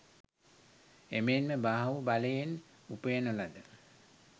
එමෙන්ම බාහු බලයෙන් උපයන ලද